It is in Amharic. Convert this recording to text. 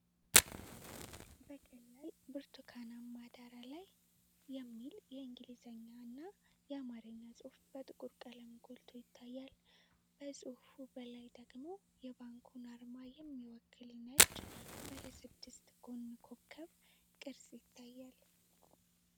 በቀላል ብርቱካናማ ዳራ ላይ፣ "Bank of Abyssinia" የሚል የእንግሊዝኛና የአማርኛ ጽሑፍ በጥቁር ቀለም ጎልቶ ይታያል። ከጽሑፉ በላይ ደግሞ የባንኩን አርማ የሚወክል ነጭ፣ ባለ ስድስት ጎን ኮከብ ቅርጽ ይገኛል።